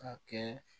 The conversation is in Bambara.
Ka kɛ